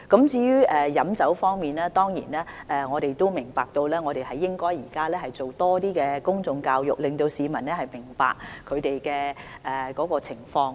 至於酒精飲品方面，我們亦明白到現時應該多做公眾教育，令市民明白有關的情況。